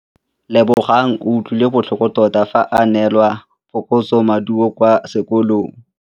Lebogang o utlwile botlhoko tota fa a neelwa phokotsômaduô kwa sekolong.